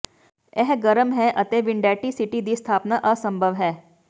ਇਹ ਗਰਮ ਹੈ ਅਤੇ ਵਿੰਡੈਟੀ ਸਿਟੀ ਦੀ ਸਥਾਪਨਾ ਅਸੰਭਵ ਹੈ